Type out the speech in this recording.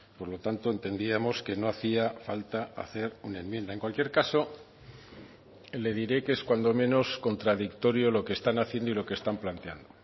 por lo tanto entendíamos que no hacía falta hacer una enmienda en cualquier caso le diré que es cuando menos contradictorio lo que están haciendo y lo que están planteando